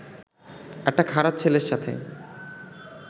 একটা খারাপ ছেলের সাথে